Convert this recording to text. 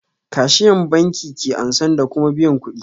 Kashiyan banki ke ansan da kuma biyan kuɗi